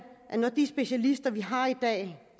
når de specialister vi har i dag